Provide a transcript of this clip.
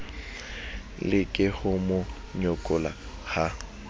leke ho mo nyokola ha